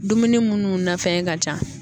Dumuni munnu na fɛn ka ca